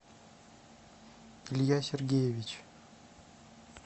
илья сергеевич